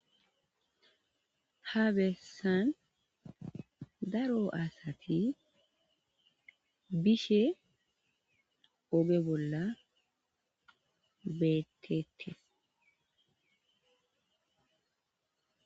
Ta bessan daro asati bishe oge bolla beettettes.